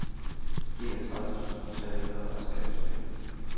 enogtredive tusind tre hundrede og treogtyve